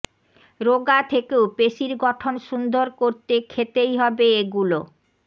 রোগা থেকেও পেশীর গঠন সুন্দর করতে খেতেই হবে এগুলো